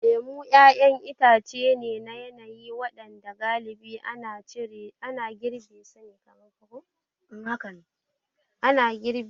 Lemu ƴaƴan itace ne na yanayi waɗanda galibi ana girbe su a cikin watannin hunturu.